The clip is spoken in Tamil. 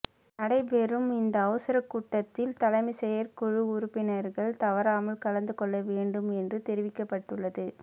நடைபெறும் இந்த அவசர கூட்டத்தில் தலைமை செயற்குழு உறுப்பினர்கள் தவறாமல் கலந்துகொள்ளவேண்டும் என்று தெரிவிக்கப்பட்டுள்ளது